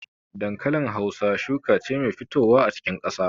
Dankalin Hausa shuka ce mai fitowa a cikin ƙasa.